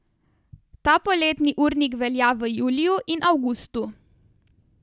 Ta poletni urnik velja v juliju in avgustu.